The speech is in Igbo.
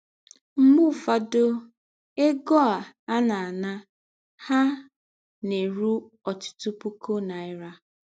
Mgbe ụfọdụ, egọ a na - ana ha na - erụ ọtụtụ pụkụ naịra.